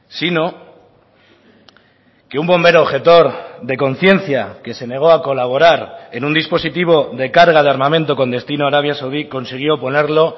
sino que un bombero objetor de conciencia que se negó a colaborar en un dispositivo de carga de armamento con destino a arabia saudí consiguió ponerlo